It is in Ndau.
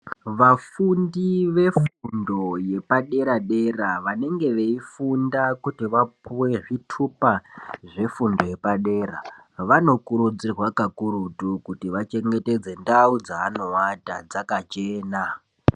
Vafundi vefundo yepadera dera vanenge veifunda kuti vapuwe zvitupa zvepadrea vanokurudzirwa kakurutu kuti ngavachengetedze ndau dzaano vata dzakachena.